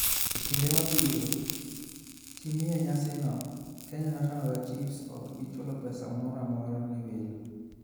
E kinde ma ibiro timie nyasino, Kenya National Archives ok bi chulo pesa moro amora ne welo.